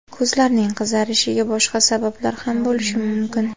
Ko‘zlarning qizarishiga boshqa sabablar ham bo‘lishi mumkin.